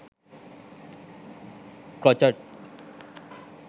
crochet